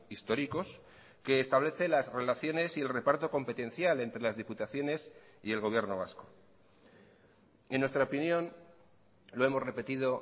históricos que establece las relaciones y el reparto competencial entre las diputaciones y el gobierno vasco en nuestra opinión lo hemos repetido